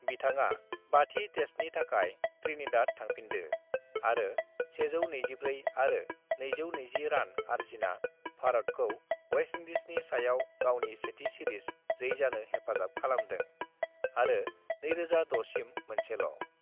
"बिथांआ बाथि तेस्त नि थाखाइ त्रिनिदाद थांफिनदो आरो 124 आरो 220 रान आरजिना भारतखौ वेस्तइंदिजनि सायाव गावनि सेथि सिरिज जैजानो हेफाजाब खालामदों, आरो 2006 सिम मोनसेल'।"